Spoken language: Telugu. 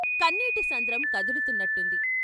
కన్నీటి సంద్రం కదులుతున్నట్టుంది.